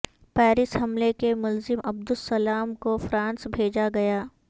Paris حملے کے ملزم عبدالسلام کو فرانس بھیجا گیا